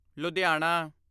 Ludhiana